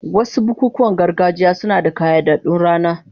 Wasu bukukuwan gargajiya suna da ƙayyadaddun rana.